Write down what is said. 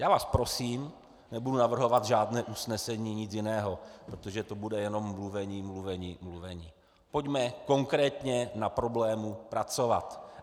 Já vás prosím - nebudu navrhovat žádné usnesení, nic jiného, protože to bude jenom mluvení, mluvení, mluvení - pojďme konkrétně na problému pracovat.